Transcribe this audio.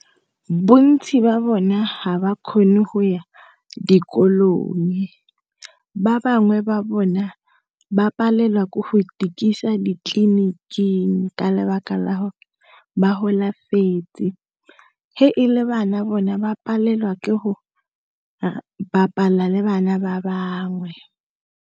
Bontsi jwa bona ga ba kgone go ya dikolong ba bangwe ba bona ba palelwa ke go ikisa ditleliniking ka lebaka la gore ba golafetse. He e le bana bona ba palelwa ke go bapala le bana ba bangwe.